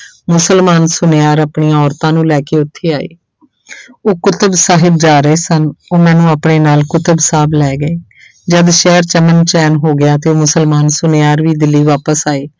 ਮੁਸਲਮਾਨ ਸੁਨਿਆਰ ਆਪਣੀਆਂ ਔਰਤਾਂ ਨੂੰ ਲੈ ਕੇ ਉੱਥੇ ਆਏ ਉਹ ਕੁਤਬ ਸਾਹਬ ਜਾ ਰਹੇ ਸਨ, ਉਹ ਮੈਨੂੰ ਆਪਣੇ ਨਾਲ ਕੁਤਬ ਸਾਹਬ ਲੈ ਗਏ ਜਦ ਸ਼ਹਿਰ 'ਚ ਅਮਨ ਚੈਨ ਹੋ ਗਿਆ ਤੇ ਮੁਸਲਮਾਨ ਸੁਨਿਆਰ ਵੀ ਦਿੱਲੀ ਵਾਪਸ ਆਏ।